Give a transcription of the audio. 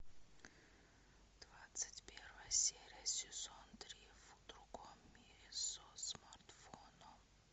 двадцать первая серия сезон три в другом мире со смартфоном